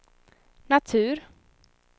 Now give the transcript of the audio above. natur